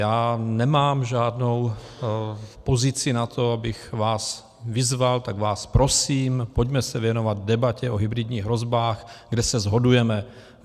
Já nemám žádnou pozici na to, abych vás vyzval, tak vás prosím, pojďme se věnovat debatě o hybridních hrozbách, kde se shodujeme.